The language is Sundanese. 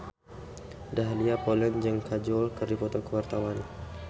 Dahlia Poland jeung Kajol keur dipoto ku wartawan